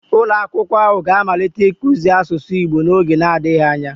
ulo akwukwo ahu ga-amalite ikuzi asusu igbo n'oge adighi anya